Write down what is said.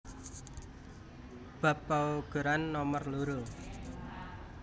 Bab paugeran nomer loro